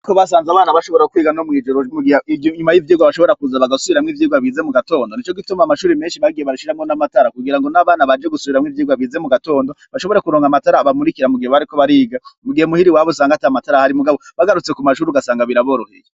Uko basanze abana bashobora kwiga no mw'ijorogiryo nyuma y'ivyirwa bashobora kuza bagasubiramwo ivyirwa bize mu gatondo ni co gituma amashuri menshi bagiye barashiramwo n'amatara kugira ngo n'abana baje gusubiramwo ivyirwa bize mu gatondo bashobore kuronga amatara abamurikira mugihe bariko bariga mugihe muhiri wabo usanga ata matara hari mugabo bagarutse ku mashuru ugasanga biraboroheye.